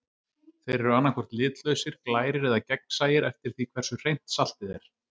Þeir eru annað hvort litlausir, glærir eða gegnsæir eftir því hversu hreint saltið er.